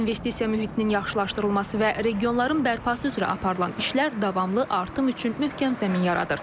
İnvestisiya mühitinin yaxşılaşdırılması və regionların bərpası üzrə aparılan işlər davamlı artım üçün möhkəm zəmin yaradır.